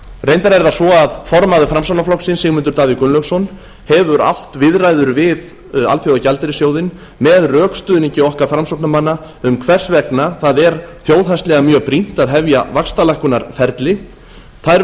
reyndar er það svo að formaður framsóknarflokksins sigmundur davíð gunnlaugsson hefur átt viðræður við alþjóðagjaldeyrissjóðinn með rökstuðningi okkar framsóknarmanna um hvers vegna það er þjóðhagslega mjög brýnt að hefja vaxtalækkunarferli þær